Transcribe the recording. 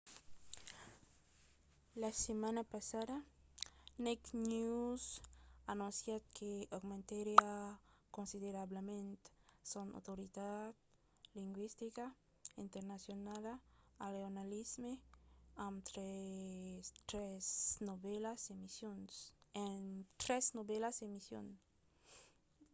la setmana passada naked news anoncièt que aumentariá considerablament son autoritat lingüistica internacionala al jornalisme amb tres novèlas emissions